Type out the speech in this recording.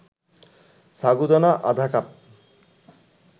সাগুদানা আধা কাপ